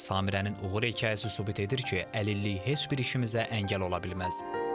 Samirənin uğur hekayəsi sübut edir ki, əlillik heç bir işimizə əngəl ola bilməz.